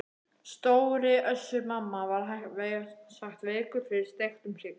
Stóri Össur-Mamma var vægast sagt veikur fyrir steiktum hrygg.